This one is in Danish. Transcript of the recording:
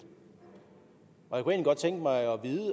og jeg godt tænke mig